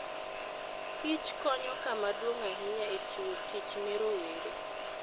kich konyo kama duong' ahinya e chiwo tich ne rowere.